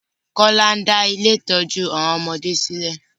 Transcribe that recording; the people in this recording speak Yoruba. Kọ́lá ń dá ilé-ìtójú àwọn ọmọdé sí lè.